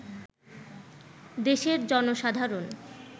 দেশের জনসাধারণ